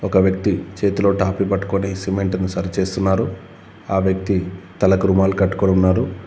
ఒక వ్యక్తి చేతిలో టాపి పట్టుకొని సిమెంటును సరి చేస్తున్నారు ఆ వ్యక్తి తలకు రుమాలు కట్టుకొనున్నారు.